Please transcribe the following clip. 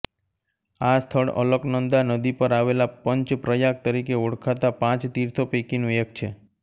આ સ્થળ અલકનંદા નદી પર આવેલા પંચ પ્રયાગ તરીકે ઓળખાતા પાંચ તીર્થો પૈકીનું એક છે